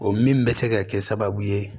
O min bɛ se ka kɛ sababu ye